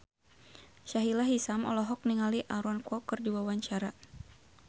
Sahila Hisyam olohok ningali Aaron Kwok keur diwawancara